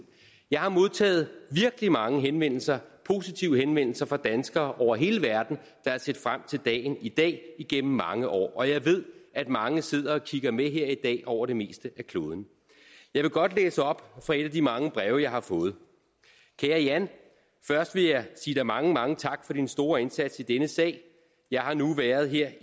jeg har modtaget virkelig mange henvendelser positive henvendelser fra danskere over hele verden der har set frem til dagen i dag igennem mange år og jeg ved at mange sidder og kigger med her i dag over det meste af kloden jeg vil godt læse op fra et af de mange breve jeg har fået kære jan først vil jeg sige dig mange mange tak for din store indsats i denne sag jeg har nu været her